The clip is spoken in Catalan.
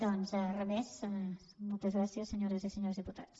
doncs re més moltes gràcies senyores i senyors diputats